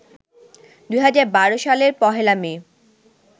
২০১২ সালের পহেলা মে